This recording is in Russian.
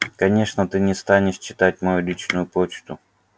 конечно ты не станешь читать мою личную почту